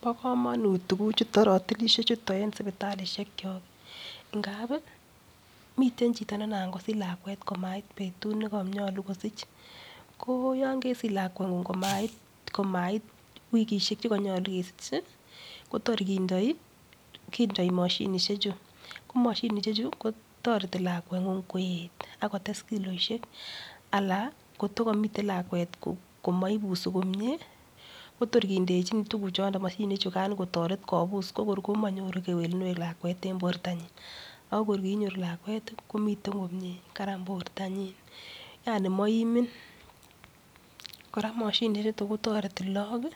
Bo komanut tukuchutok, ratilishechutok eng sipitalishek ngap, miten chito nengap kosich lkwet kotokoit eng betut nekayolu kosich. Ko yon kesich lakweng'ung komait wikishek che kanyolu isich, ko tor kindoi mashinishe chu. Komashinishechu, ko toreti lakweng'ung koet ak kotes kiloishek ala kotokamitei lakwet komaipusei komie, kotor kindechin tukuchutok kotoret kopus komanyoru kewelunet lakwet eng portanyi. Ako nginyoru lakwet komiten komie. Karan portanyi. maimin. kora mashinishek kotareti lagik